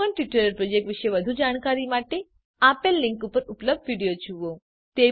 spoken tutorial project વિશે વધુ જાણકારી માટે આ લીંક પર ઉપલબ્ધ વિડીયો જુઓ